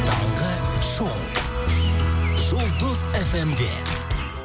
таңғы шоу жұлдыз эф эм де